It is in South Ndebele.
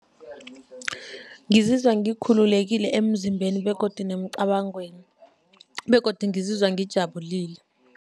Ngizizwa ngikhululekile emzimbeni begodu nemcabangweni begodu ngizizwa ngijabulile.